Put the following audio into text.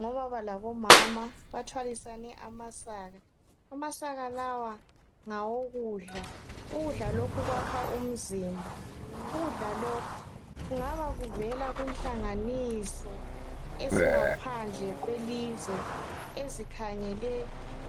Ngobaba labomama bathwalisane amasaka. Amasaka lawa ngawokudla. Ukudla lokhu kwakha umzimba. Ukudla lokhu kungaba kuvela kunhlanganiso ezingaphandle kwelizwe ezikhangele